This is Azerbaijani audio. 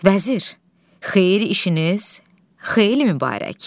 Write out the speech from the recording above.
Vəzir, xeyir işiniz xeyirli-mübarək.